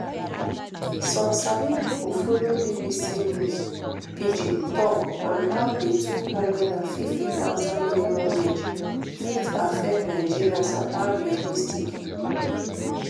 some sabi pipo follow bbc news pidgin tok on how di two hundred and fifty thousand minimum wage fit affect nigerians and how realistic e dey